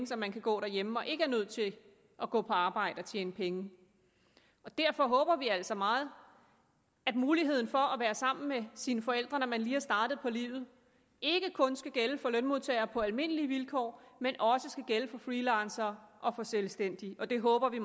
så man kan gå hjemme og ikke er nødt til at gå på arbejde for at tjene penge derfor håber vi altså meget at muligheden for at være sammen med sine forældre når man lige er startet på livet ikke kun skal gælde for lønmodtagere på almindelige vilkår men også skal gælde for freelancere og for selvstændige og det håber vi